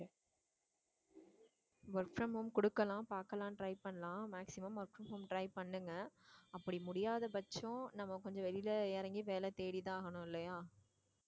work from home குடுக்கலாம் பாக்கலாம் try பண்ணலாம் maximum work from home try பண்ணுங்க அப்படி முடியாத பட்சம் நம்ம கொஞ்சம் வெளியில இறங்கி வேலை தேடித்தான் ஆகணும் இல்லையா